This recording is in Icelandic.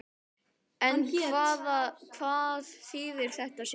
En hvað þýðir þetta síðan?